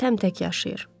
Təmtək yaşayır.